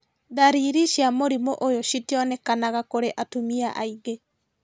Ndariri cia mũrimũ ũyũ citionekanaga kũrĩ atumia aingĩ